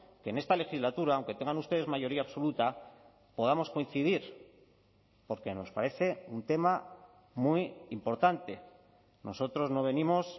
que en esta legislatura aunque tengan ustedes mayoría absoluta podamos coincidir porque nos parece un tema muy importante nosotros no venimos